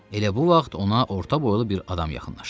Elə bu vaxt ona orta boylu bir adam yaxınlaşdı.